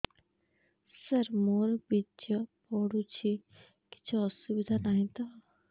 ସାର ମୋର ବୀର୍ଯ୍ୟ ପଡୁଛି କିଛି ଅସୁବିଧା ନାହିଁ ତ